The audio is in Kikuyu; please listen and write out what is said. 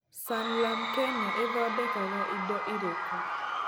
Sanlam Kenya ĩthondekaga indo irĩkũ?